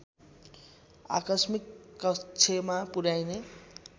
आकस्मिक कक्षमा पुर्‍याइने